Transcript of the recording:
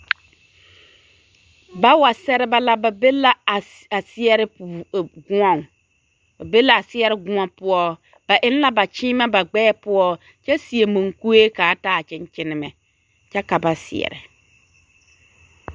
Bawa seɛrebɛ la, ba be la a seɛre goɔŋ ba be la a seɛre gõɔ poɔ ba eŋ la ba kyeemɛ ba gbɛɛ poɔ kyɛ seɛ munkue k'a taa kyeŋkyenemɛ kyɛ ka ba seɛrɛ.